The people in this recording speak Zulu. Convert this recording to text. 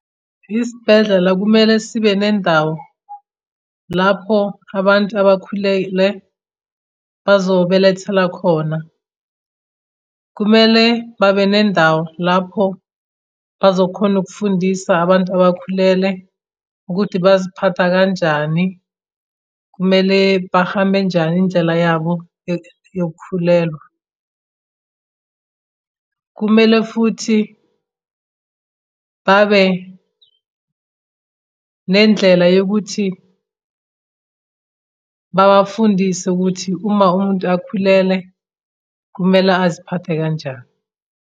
Isibhedlela kumele sibe nendawo lapho abantu abakhulele bazobelethela khona. Kumele babe nendawo lapho bazokhona ukufundisa abantu abakhulele ukuthi baziphatha kanjani. Kumele bahambe njani indlela yabo yokukhulelwa. Kumele futhi babe nendlela yokuthi babafundise ukuthi uma umuntu akhulele kumele aziphathe kanjani.